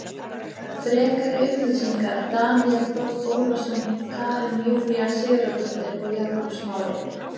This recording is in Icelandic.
Frekari upplýsingar Daníel Þór Ólason Karen Júlía Sigurðardóttir og Jakob Smári.